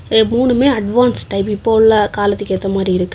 ஏ மூணுமே advance type இப்ப உள்ள காலத்துக்கு ஏத்த மாரி இருக்கு.